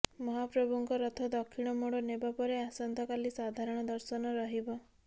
ମହାପ୍ରଭୁଙ୍କ ରଥ ଦକ୍ଷିଣମୋଡ଼ ନେବା ପରେ ଆସନ୍ତାକାଲି ସାଧାରଣ ଦର୍ଶନ ରହିବ